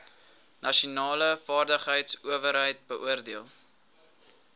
nasionale vaardigheidsowerheid beoordeel